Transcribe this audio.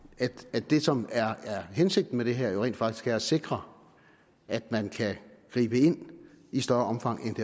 at det som er hensigten med det her rent faktisk er at sikre at man kan gribe ind i større omfang